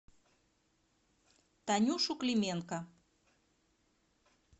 танюшу клименко